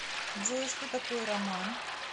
джой что такое роман